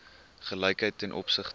gelykheid ten opsigte